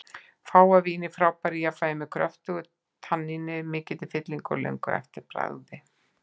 Fágað vín í frábæru jafnvægi, með kröftugu tanníni, mikilli fyllingu og löngu eftirbragði.